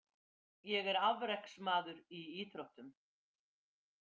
Ég er afreksmaður í íþróttum.